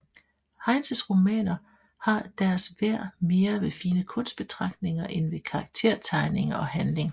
Heinses romaner har deres værd mere ved fine kunstbetragtninger end ved karaktertegning og handling